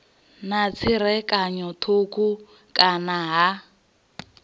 na tserakano thukhu kana ha